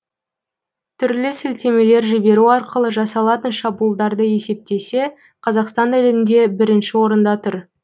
түрлі сілтемелер жіберу арқылы жасалатын шабуылдарды есептесе қазақстан әлемде бірінші орында тұр